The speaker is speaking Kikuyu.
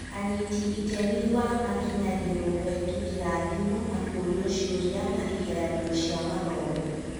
Anyiti itemi wa makinyagĩrwo kũhetũkĩra thimũ na kũũrio ciũria na igeranio cia mathomo